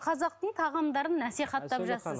қазақтың тағамдарын насихаттап жатырсыз